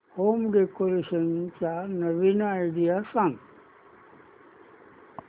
home decoration च्या नवीन idea सांग